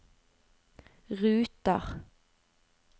ruter